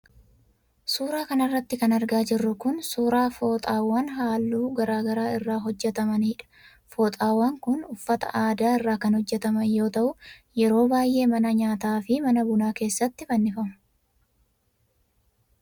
Suura kana irratti kan argaa jirru kun ,suura fooxaawan haalluu garaa garaa irraa hojjatamaniidha. Fooxaawwan kun uffata aadaa irraa kan hojjataman yoo ta'u, yeroo baay'ee mana nyaataa fi mana bunaa keessatti fannifamu.